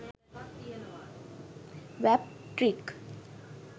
wap trick